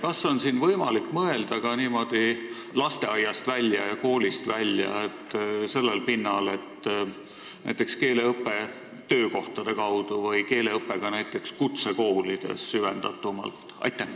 Kas siin on võimalik mõelda ka niimoodi lasteaiast ja koolist välja, sellel pinnal, et oleks näiteks keeleõpe töökohtade kaudu või keeleõpe kutsekoolides süvendatumalt?